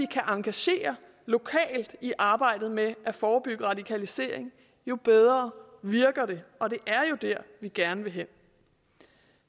kan engagere lokalt i arbejdet med at forebygge radikalisering jo bedre virker det og det er jo der vi gerne vil hen